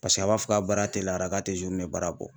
Paseke a b'a fɔ k'a baara teliyara k'a tɛ baara bɔ.